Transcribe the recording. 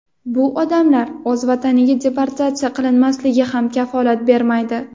bu odamlar o‘z vataniga deportatsiya qilinmasligiga ham kafolat bermaydi.